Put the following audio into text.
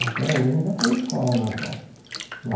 Até hoje ainda tem escola na roça, lá.